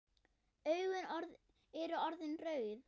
Augun eru orðin rauð.